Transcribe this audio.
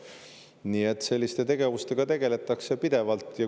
Nii et selliste tegevustega tegeletakse pidevalt.